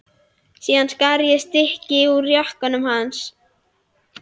Síðan skar ég stykki úr jakkanum hans.